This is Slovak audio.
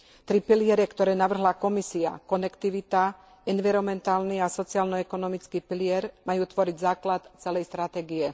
Tri piliere, ktoré navrhla Komisia, konektivita, environmentálny a sociálno ekonomický pilier, majú tvoriť základ celej stratégie.